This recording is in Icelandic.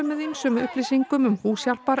með ýmsum upplýsingum um